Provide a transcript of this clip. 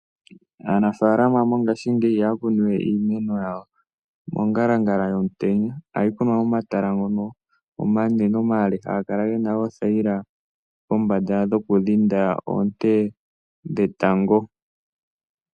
Aanafaalama mongaashingeyi ihaya kunu we iimeno mongalangala yomutenya, ohayi kunwa momatala ngono omanene, omale haga kala gena oothaila kombanda dhoku dhinda oonte dhetango.